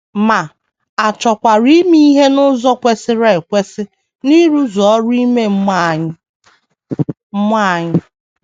Ma, a chọkwara ime ihe n’ụzọ kwesịrị ekwesị n’ịrụzu ọrụ ime mmụọ anyị mmụọ anyị.